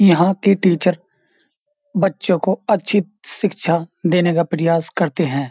यहां के टीचर बच्चों को अच्छी शिक्षा देने का प्रयास करते हैं।